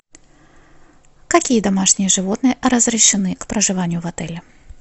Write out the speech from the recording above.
какие домашние животные разрешены к проживанию в отеле